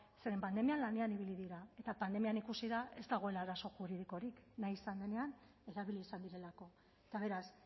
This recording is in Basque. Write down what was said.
zeren pandemian lanean ibili dira eta pandemian ikusi da ez dagoela arazo juridikorik nahi izan denean erabili izan direlako eta beraz